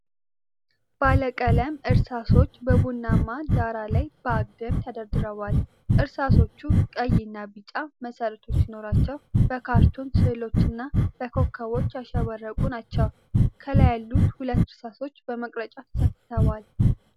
ባለቀለም እርሳሶች በቡናማ ዳራ ላይ በአግድም ተደርድረዋል። እርሳሶቹ ቀይ እና ቢጫ መሠረቶች ሲኖሯቸው፣ በካርቱን ሥዕሎችና በኮከቦች ያሸበረቁ ናቸው። ከላይ ያሉት ሁለት እርሳሶች በመቀረጫ ተሰክተዋል።